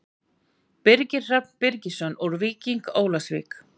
Birgir Hrafn Birgisson úr Víking Ólafsvík